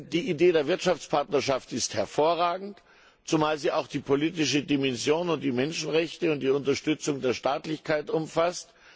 Die Idee der Wirtschaftspartnerschaft ist hervorragend, zumal sie auch die politische Dimension und die Menschenrechte und die Unterstützung der Staatlichkeit umfasst.